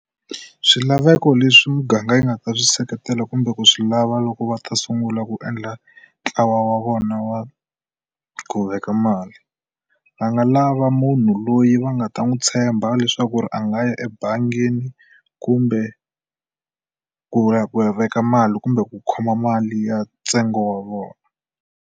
Swilaveko leswi muganga yi nga ta swi seketela kumbe ku swi lava loko va ta sungula ku endla ntlawa wa vona wa ku veka mali. Va nga lava munhu loyi va nga ta n'wi tshemba leswaku ri a nga ya ebangini kumbe ku ya ku veka mali kumbe ku khoma mali ya ntsengo wa vona.